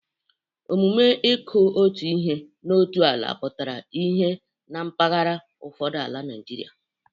Omume ịkụ otu ihe n'otu ala pụtara ihe na mpaghara ụfọdụ n'ala Naịjirịa.